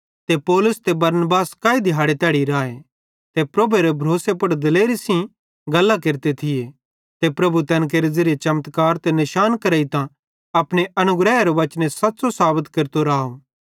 ते पौलुस ते बरनबास काई दिहाड़े तैड़ी राए ते प्रभुएरी भरोसे पुड़ दिलेरी सेइं गल्लां केरते थिये ते प्रभु तैन केरे ज़िरिये चमत्कार ते निशान करेइतां अपने अनुग्रहेरे वचने सच़्च़ो साबत केरतो राव